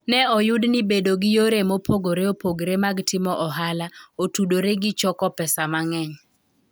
Ne oyud ni bedo gi yore mopogore opogore mag timo ohala otudore gi choko pesa mang'eny.